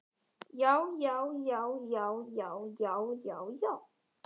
JÁ, JÁ, JÁ, JÁ, JÁ, JÁ, JÁ, JÁ.